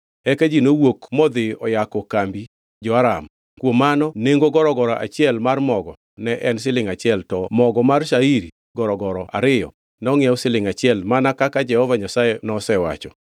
Eka ji nowuok modhi oyako kambi jo-Aram. Kuom mano nengo gorogoro achiel mar mogo ne en silingʼ achiel to mogo mar shairi gorogoro ariyo nongʼiew silingʼ achiel mana kaka Jehova Nyasaye nosewacho.